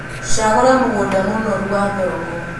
Shagũra mũgũnda mũnoru wa thoroko